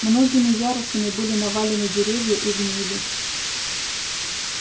многими ярусами были навалены деревья и гнили